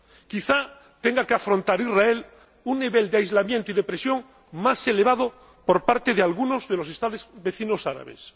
Quizá tenga que afrontar Israel un nivel de aislamiento y de presión más elevado por parte de algunos de los Estados vecinos árabes.